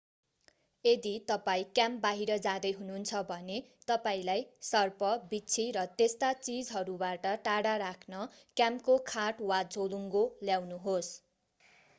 यदि तपाईं क्याम्प बाहिर जाँदै हुनुहुन्छ भने तपाईंलाई सर्प बिच्छी र त्यस्ता चीजहरूबाट टाढा राख्न क्याम्पको खाट वा झोलुङ्गो ल्याउनुहोस्